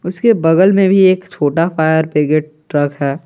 उसके बगल में भी एक छोटा फायर ब्रिगेड ट्रक है।